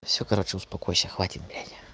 всё короче успокойся хватит блять